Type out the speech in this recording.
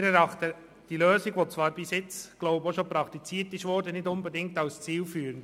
Wir erachten diese bisher praktizierte Lösung nicht als zielführend.